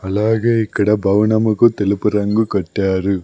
అలాగే ఇక్కడ భవనముకు తెలుపు రంగు కట్టారు.